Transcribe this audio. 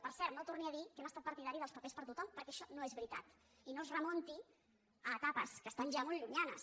per cert no torni a dir que hem estat partidaris dels papers per a tothom perquè això no és veritat i no es remunti a etapes que estan ja molt llunyanes